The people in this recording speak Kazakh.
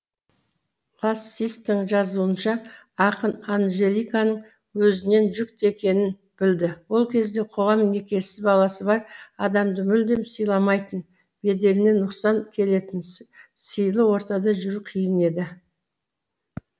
лацистің жазуынша ақын анжеликаның өзінен жүкті екенін білді ол кезде қоғам некесіз баласы бар адамды мүлдем сыйламайтын беделіне нұқсан келетін сыйлы ортада жүру қиын еді